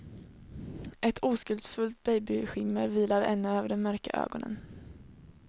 Ett oskuldsfullt babyskimmer vilar ännu över de mörka ögonen.